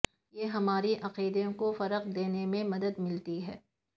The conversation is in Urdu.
یہ ہمارے عقیدے کو فروغ دینے میں مدد ملتی ہے